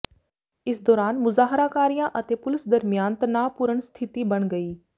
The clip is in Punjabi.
ਇਸ ਦੌਰਾਨ ਮੁਜ਼ਾਹਰਾਕਾਰੀਆਂ ਅਤੇ ਪੁਲੀਸ ਦਰਮਿਆਨ ਤਣਾਅਪੂਰਨ ਸਥਿਤੀ ਬਣ ਗਈ